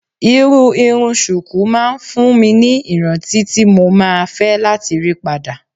Irú irun ṣùkú máa ń fún mi ní ìrántí tí mo máa fẹ́ láti rí padà.